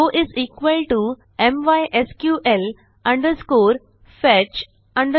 row mysql fetch associative